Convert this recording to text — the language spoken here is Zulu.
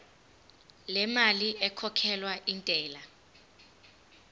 lemali ekhokhelwa intela